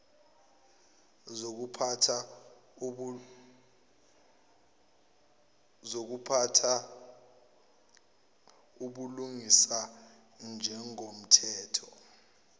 zokuphatha ubulungisa njengomthetho